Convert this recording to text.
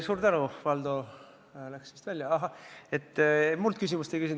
Suur tänu, Valdo – ta küll läks vist välja –, et sa minult küsimust ei küsinud!